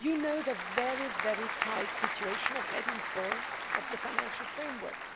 You know the very tight situation of Heading 4 of the financial framework.